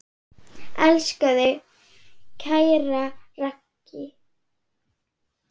Elska þig, kæra Raggý.